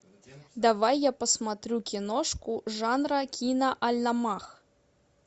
давай я посмотрю киношку жанра киноальманах